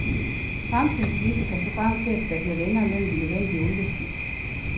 Fremtidens bilister kan se frem til, at der bliver længere mellem de nødvendige olieskift.